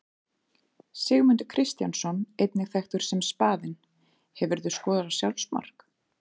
Sigmundur Kristjánsson einnig þekktur sem Spaðinn Hefurðu skorað sjálfsmark?